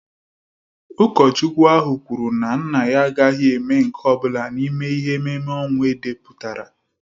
Ụkọchukwu ahụ kwuru na nna ya agaghị eme nke ọ bụla n'ime ihe ememme ọnwụ edepụtara